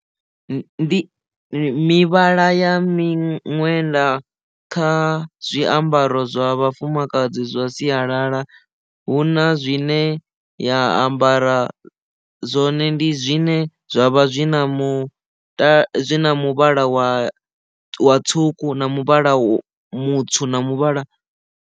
Ndi mivhala ya miṅwenda kha zwiambaro zwa vhafumakadzi zwa sialala hu na zwine ya ambara zwone ndi zwine zwavha zwi na mu muvhala wa wa tswuku na muvhala mutswu na muvhala.